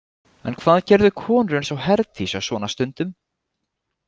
En hvað gerðu konur eins og Herdís á svona stundum?